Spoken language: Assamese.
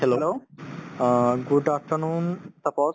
hello অ good afternoon তাপশ